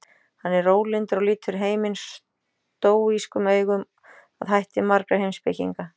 Hann er rólyndur og lítur heiminn stóískum augum að hætti margra heimspekinga.